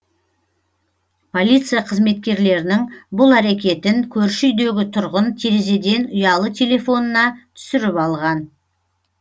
полиция қызметкерлерінің бұл әрекетін көрші үйдегі тұрғын терезеден ұялы телефонына түсіріп алған